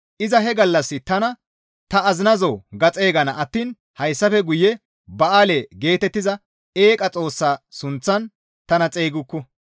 Iza he gallassi tana, ‹Ta azinazoo› ga xeygana attiin hayssafe guye, ‹Ba7aale› geetettiza eeqa xoossa sunththan tana xeygukku.